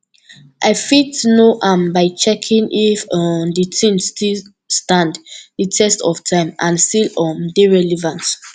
i fit know am by checking if um di thing still stand di test of time and still um dey relevant